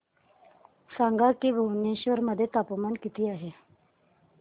सांगा की भुवनेश्वर मध्ये तापमान किती आहे